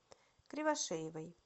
кривошеевой